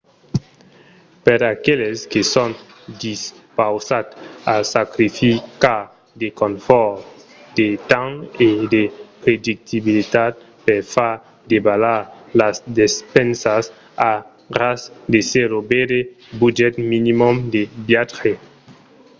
per aqueles que son dispausats a sacrificar de confòrt de temps e de predictabilitat per far davalar las despensas a ras de zèro veire budget minimum de viatge